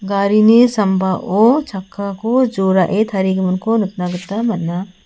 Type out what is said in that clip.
garini sambao chakkako jorae tarigiminko nikna gita man·a.